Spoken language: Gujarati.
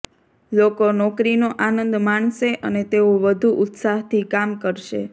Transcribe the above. લોકો નોકરીનો આનંદ માણશે અને તેઓ વધુ ઉત્સાહથી કામ કરશે